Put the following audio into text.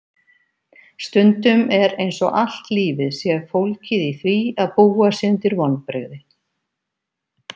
Stundum er einsog allt lífið sé fólgið í því að búa sig undir vonbrigði.